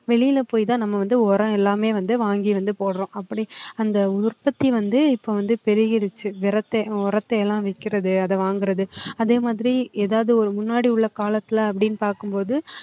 வெளில போய் தான் நம்ம வந்து உரம் எல்லாமே வந்து வாங்கி வந்து போடுறோம். அப்படி அந்த உற்பத்தி வந்து இப்போ வந்து பெருகிருச்சு வ்ரத்தை~உரத்தை எல்லாம் வைக்கிறது அதை வாங்குறது அதே மாதிரி ஏதாவது ஒரு முன்னாடி உள்ள காலத்துல அப்படின்னு பார்க்கும்போது